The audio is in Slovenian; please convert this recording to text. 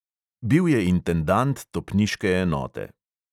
Bil je intendant topniške enote.